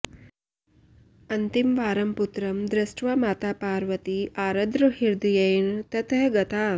अन्तिमवारं पुत्रं दृष्ट्वा माता पार्वती आर्द्रहृदयेन ततः गता